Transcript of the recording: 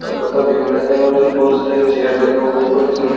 कपड़ा बिकता है और इसमें बहोत सारी चेयर लगा हुआ है और इसमें--